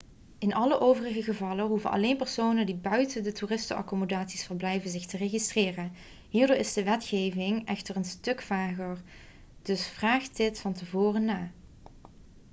in alle overige gevallen hoeven alleen personen die buiten de toeristenaccommodaties verblijven zich te registreren hierdoor is de wetgeving echter een stuk vager dus vraag dit van tevoren na